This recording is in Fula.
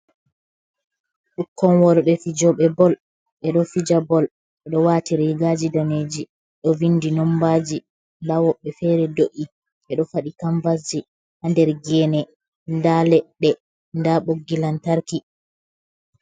Ɓikkon worɓe fijooɓe "bol" ɓe ɗo fija "bol", ɓe ɗo waati riigaaji daneeji, ɗo vinndi nommbaaji ndaa woɓɓe feere do'’i, ɓe ɗo faɗɗi kammbasji ha nder geene, nda leɗɗe ndaa ɓoggi lantarki.